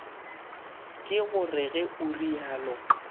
ke gore ge o realo